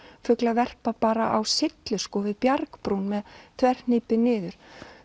fuglar verpa bara á syllu við bjargbrún með þverhnípi niður